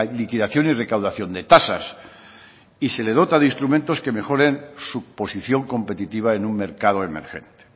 liquidación y recaudación de tasas y se le dota de instrumentos que mejoren su posición competitiva en un mercado emergente